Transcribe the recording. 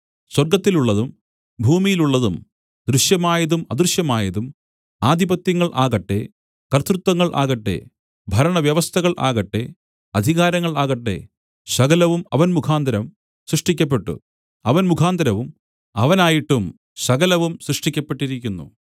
സ്വർഗ്ഗത്തിലുള്ളതും ഭൂമിയിലുള്ളതും ദൃശ്യമായതും അദൃശ്യമായതും ആധിപത്യങ്ങൾ ആകട്ടെ കർത്തൃത്വങ്ങൾ ആകട്ടെ ഭരണവ്യവസ്ഥകൾ ആകട്ടെ അധികാരങ്ങൾ ആകട്ടെ സകലവും അവൻ മുഖാന്തരം സൃഷ്ടിക്കപ്പെട്ടു അവൻ മുഖാന്തരവും അവനായിട്ടും സകലവും സൃഷ്ടിക്കപ്പെട്ടിരിക്കുന്നു